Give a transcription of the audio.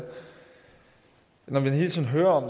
når man hele tiden hører om